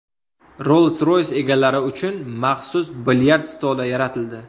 Rolls-Royce egalari uchun maxsus bilyard stoli yaratildi.